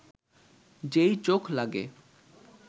যেই চোখ লাগে